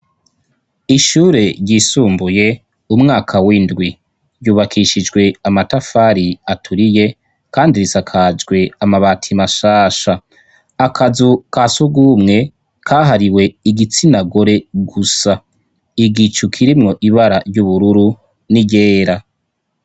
Ishure ryisumbuye umwaka w'indwi, ryubakishijwe amatafari aturiye kandi risakajwe amabati mashasha .Akazu kasugumwe kahariwe igitsinagore gusa igicukirimwo ibara ry'ubururu ni ryera.